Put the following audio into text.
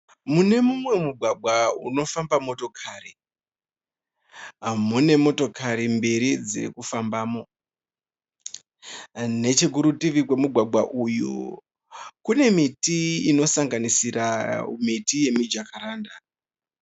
Mune mumwe mugwagwa unofamba motokari mune motokari mbiri dzirikufambamo. Nechekurutivi kwemugwagwa uyu kune miti inosangasisira miti yemijakaranda